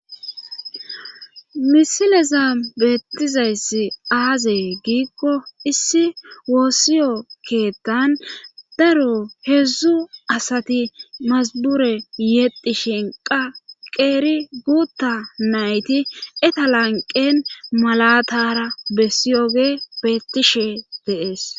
misileza beettizayssi aazee giikko issi woossiyo keettan daro heedzdzu asati masabure yedi shinqa qeeri guutta nayti etalanqen malatara bessiyoge beettishe deees